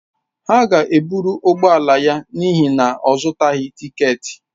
Ha ga-ebụrụ ụgbọ ala ya n'ihi na ọ zụtaghị tịketị